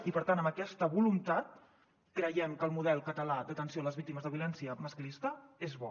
i per tant amb aquesta voluntat creiem que el model català d’atenció a les víctimes de violència masclista és bo